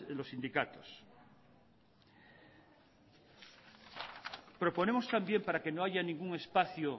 los sindicatos proponemos también para que no haya ningún espacio